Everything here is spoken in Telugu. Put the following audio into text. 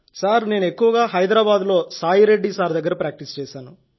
నేను ఎక్కువగా హైదరాబాద్లో సాయిరెడ్డి సార్ దగ్గర ప్రాక్టీస్ చేశాను